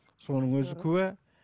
соның өзі куә